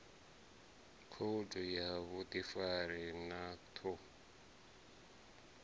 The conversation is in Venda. khoudu ya vhuḓifari na ṱhu